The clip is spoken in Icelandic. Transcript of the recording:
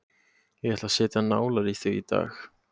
Ég ætla að setja nálar í þig í dag.